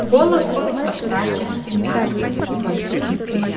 голос был по-старчески мягок